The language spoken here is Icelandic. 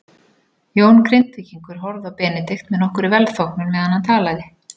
Jón Grindvíkingur horfði á Benedikt með nokkurri velþóknun meðan hann talaði.